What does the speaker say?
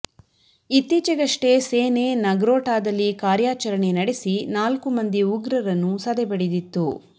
ಇತ್ತೀಚೆಗಷ್ಟೇ ಸೇನೆ ನಗ್ರೋಟಾದಲ್ಲಿ ಕಾರ್ಯಾಚರಣೆ ನಡೆಸಿ ನಾಲ್ಕು ಮಂದಿ ಉಗ್ರರನ್ನು ಸೆದೆ ಬಡಿದಿತ್ತು